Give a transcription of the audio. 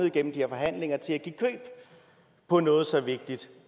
igennem de her forhandlinger til at give køb på noget så vigtigt